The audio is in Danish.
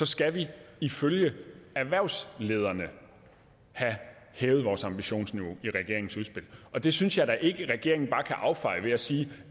skal vi ifølge erhvervslederne have hævet ambitionsniveauet i regeringens udspil det synes jeg da ikke at regeringen bare kan affeje ved at sige